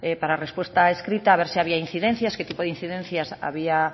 para respuesta escrita a ver si había incidencias qué tipo de incidencias había